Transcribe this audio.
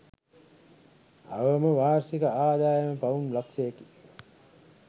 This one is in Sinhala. අවම වාර්ෂික ආදායම පවුම් ලක්ෂයකි